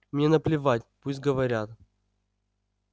мне наплевать пусть говорят